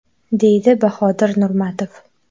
deydi Bahodir Nurmatov.